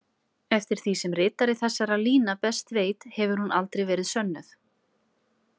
Eftir því sem ritari þessara lína best veit hefur hún aldrei verið sönnuð.